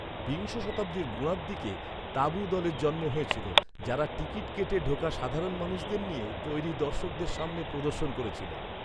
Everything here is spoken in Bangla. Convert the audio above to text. বিংশ শতাব্দীর গোড়ার দিকে 'তাঁবু' দলের জন্ম হয়েছিল, যারা টিকিট কেটে ঢোকা সাধারণ মানুষদের নিয়ে তৈরি দর্শকদের সামনে প্রদর্শন করেছিল।